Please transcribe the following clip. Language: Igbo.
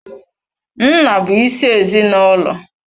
Nna bụ isi ezinaụlọ.